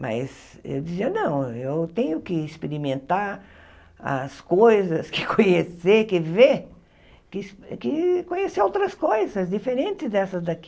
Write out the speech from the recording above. Mas eu dizia, não, e eu tenho que experimentar as coisas, que conhecer, que ver, que que conhecer outras coisas diferentes dessas daqui.